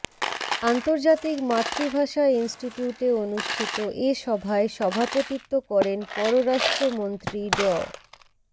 আন্তর্জাতিক মাতৃভাষা ইনস্টিটিউটে অনুষ্ঠিত এ সভায় সভাপতিত্ব করেন পররাষ্ট্রমন্ত্রী ড